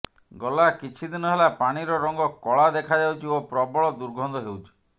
ଗଲା କିଛି ଦିନ ହେଲା ପାଣିର ରଙ୍ଗ କଳା ଦେଖାଯାଉଛି ଓ ପ୍ରବଳ ଦୁର୍ଗନ୍ଧ ହେଉଛି